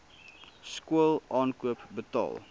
skool aankoop betaal